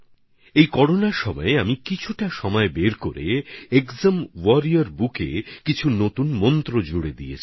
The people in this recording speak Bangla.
এই করোনার সময়ে আমি কিছুটা সময় বের করে একজাম ওয়ারিয়র বুকএর মধ্যেও কিছু নতুন মন্ত্র সংযুক্ত করে দিয়েছি